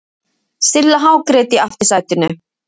Silla hágrét í aftursætinu.